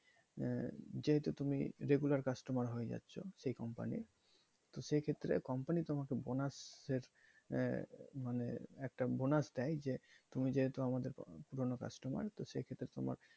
আহ যেহেতু তুমি regular customer হয়ে যাচ্ছো ওই company র তো সেক্ষেত্রে company তোমাকে bonus এর আহ মানে একটা bonus দেয় যে তুমি যেহেতু আমাদের পুরনো customer তো সেক্ষেত্রে তোমার,